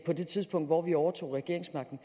det tidspunkt hvor vi overtog regeringsmagten